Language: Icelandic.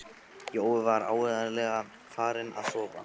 Jói var áreiðanlega farinn að sofa.